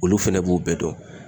Olu fɛnɛ b'u bɛɛ dɔn.